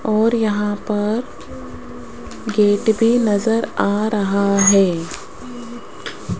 और यहां पर गेट भी नजर आ रहा है।